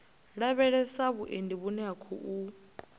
lavhelesa vhuendi vhune ha khou